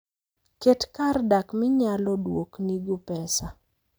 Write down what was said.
Ket kar dak minyalo duoknigo pesa.